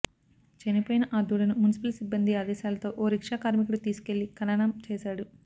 చనిపోయిన ఆ దూడను మున్సిపల్ సిబ్బంది ఆదేశాలతో ఓ రిక్షా కార్మికుడు తీసుకెళ్లి ఖననం చేశాడు